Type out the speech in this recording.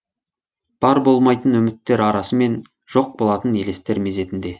бар болмайтын үміттер арасымен жоқ болатын елестер мезетінде